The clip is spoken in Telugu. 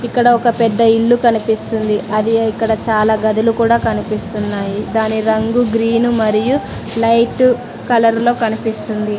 ఇక్కడ ఒక పెద్ద ఇల్లు కనిపిస్తుంది అది ఇక్కడ చాలా గదులు కూడా కనిపిస్తున్నాయి దాని రంగు గ్రీను మరియు లైట్ కలర్ లో కనిపిస్తుంది.